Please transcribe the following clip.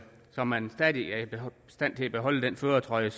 så man stadig er i stand til at beholde den førertrøje